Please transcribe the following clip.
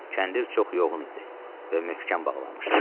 Kəndir çox yoğun idi və möhkəm bağlanmışdı.